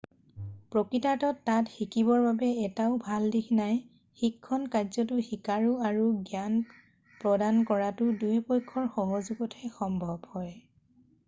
প্ৰকৃতাৰ্থত তাত শিকিবৰ বাবে এটাও ভাল দিশ নাই শিক্ষণ কাৰ্যটো শিকাৰু আৰু জ্ঞান প্ৰদানকৰোতা দুয়োপক্ষৰ সহযোগতহে সম্ভৱ হয়